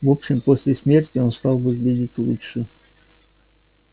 в общем после смерти он стал выглядеть лучше